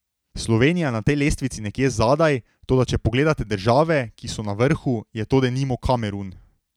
Slovenija je na tej lestvici nekje zadaj, toda če pogledate države, ki so na vrhu, je to denimo Kamerun.